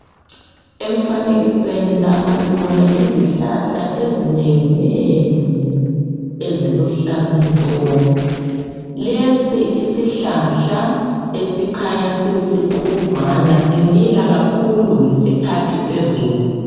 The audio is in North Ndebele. Emfanekisweni lapha sibona izihlahla ezinenginengi eziluhlaza tshoko. Lesi isihlahla esikhanya sisikhudlwana simila kakhulu ngesikhathi sezulu.